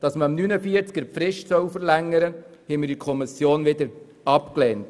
Die unter Artikel 49 verlangte Fristverlängerung wurde in der Kommission abgelehnt.